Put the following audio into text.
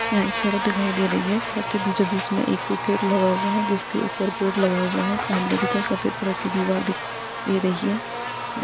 यहां एक सड़क दिखाई दे रही है सड़क के बीचो बिच एक में गेट लगा हुआ हैजिसके ऊपर एक बोर्ड लगा हुआ है सामने के तरफ सफ़ेद कलर दीवार दिख रही है।